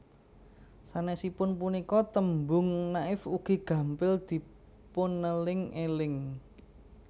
Sanesipun punika tembung Naif ugi gampil dipuneling eling